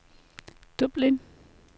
Dublin